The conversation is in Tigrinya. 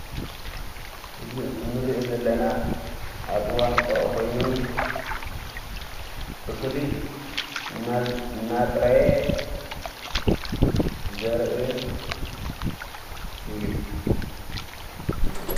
እዝ ንርኢ ዘለና ኣብኡዋን ቀዉዖ ኾይኑ እኽሊ ናፅረየ ዘርአ እዩ::